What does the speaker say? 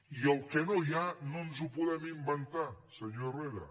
i el que no hi ha no ens ho podem inventar senyor herrera